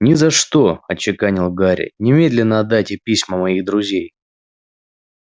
ни за что отчеканил гарри немедленно отдайте письма моих друзей